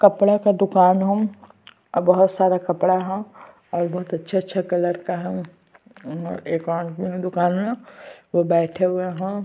कपड़ा का दूकान है और बहोत सारा कपड़ा है और बहोत अच्छा-अच्छा कलर का है और एक आदमी है दूकान में वो बैठे हुए है।